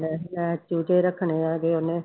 ਮੈਂ ਚੂਚੇ ਰੱਖਣੇ ਹੈਗੇ ਉਹਨੇ